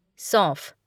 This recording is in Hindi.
सौंफ